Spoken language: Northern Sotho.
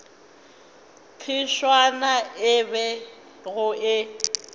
phefšana ye e bego e